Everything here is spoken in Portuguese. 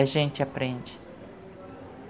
A gente aprende.